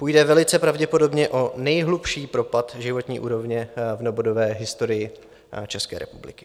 Půjde velice pravděpodobně o nejhlubší propad životní úrovně v novodobé historii České republiky.